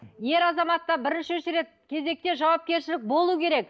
ер азаматта бірінші кезекте жауапкершілік болу керек